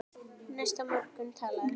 Næsta morgun talaði